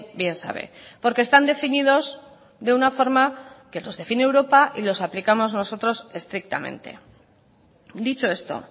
bien sabe porque están definidos de una forma que los define europa y los aplicamos nosotros estrictamente dicho esto